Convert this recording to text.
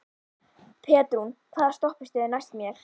Petrún, hvaða stoppistöð er næst mér?